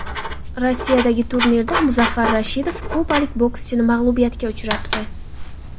Rossiyadagi turnirda Muzaffar Rashidov kubalik bokschini mag‘lubiyatga uchratdi.